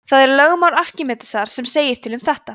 það er lögmál arkímedesar sem segir til um þetta